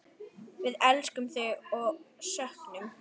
Við elskum þig og söknum.